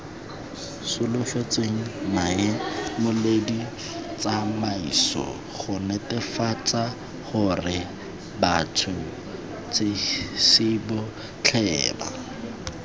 solofetsweng maemoleditsamaiso gonetefatsagorebats huts hisibotlheba